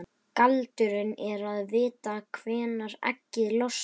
Galdurinn er að vita hvenær eggið losnar.